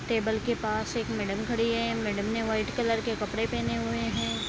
Table के पास एक मैडम खड़ी है मैडम ने व्हाइट कलर के कपड़े पहने हुए है।